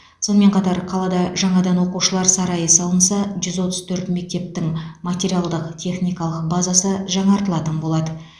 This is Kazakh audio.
сонымен қатар қалада жаңадан оқушылар сарайы салынса жүз отыз төрт мектептің материалдық техникалық базасы жаңартылатын болады